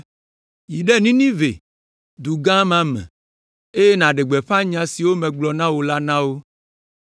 “Yi ɖe Ninive, du gã ma me, eye nàɖe gbeƒã nya siwo megblɔ na wò la na wo.”